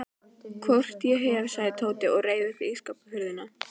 Hvort ég hef, sagði Tóti og reif upp ísskápshurðina.